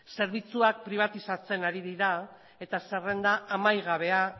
zerbitzuak pribatizatzen ari dira eta zerrenda amaigabea